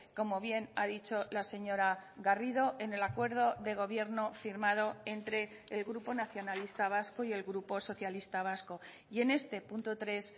como bien ha dicho la señora garrido en el acuerdo de gobierno firmado entre el grupo nacionalista vasco y el grupo socialista vasco y en este punto tres